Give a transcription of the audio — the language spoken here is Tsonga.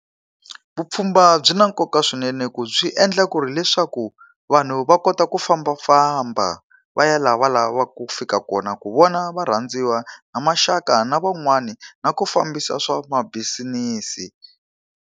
Vupfhumba byi na nkoka swinene ku byi endla ku ri leswaku, vanhu va kota ku fambafamba va ya laha va lavaka ku ku fika kona ku vona varhandziwa na maxaka na van'wani, na ku fambisa swa mabisinisi